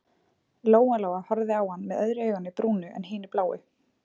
Lóa-Lóa horfði á hann með öðru auganu brúnu en hinu bláu.